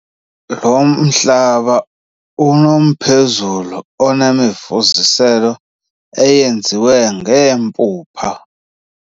Lo mhlaba unomphezulu onemifuziselo eyenziwe ngeempuphu.